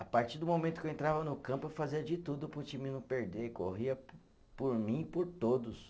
A partir do momento que eu entrava no campo eu fazia de tudo para o time não perder, corria po por mim e por todos.